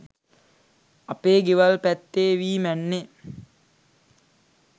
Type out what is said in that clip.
අපේ ගෙවල් පැත්තෙ වී මැන්නෙ